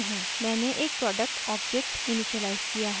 मैंने एक product object initialise किया है